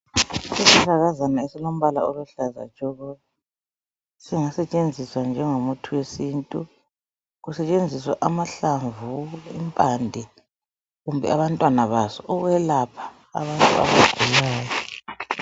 Isihlahlakazana esilombala oluhlaza tshoko. Singasetshenziswa njengomuthi wesintu, kusetshenziswa amahalamvu, impande, kumbe abantwana baso ukwelapha abantu abagulayo.